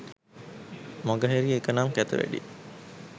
මගහැරිය එක නම් කැත වැඩේ.